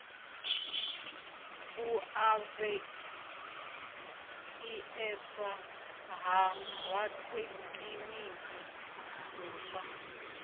u lavheieswa ha rathekiniki muswa